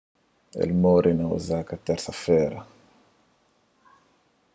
el móre na osaka térsa-fera